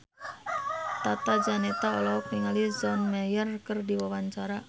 Tata Janeta olohok ningali John Mayer keur diwawancara